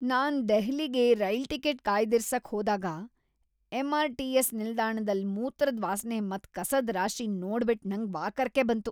ನಾನ್ ದೆಹ್ಲಿಗೆ rail ticket ಕಾಯ್ದಿರಿಸಕ್ ಹೋದಾಗ ಎಂಆರ್ ಟಿಎಸ್ ನಿಲ್ದಾಣದಲ್ ಮೂತ್ರದ್ ವಾಸ್ನೆ ಮತ್ ಕಸದ್ ರಾಶಿನ್ ನೋಡ್ಬಿಟ್ ನಂಗ್ ವಾಕರಿಕೆ ಬಂತು.